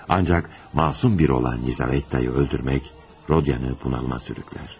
Ancaq məsum bir olan Lizavettanı öldürmək Rodyanı bunalıma sürükləyir.